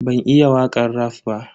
Ban iya wakan raf ba.